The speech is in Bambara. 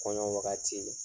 Kɔɲɔ wagati la